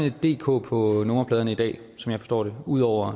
et dk på nummerpladerne i dag som jeg forstår det ud over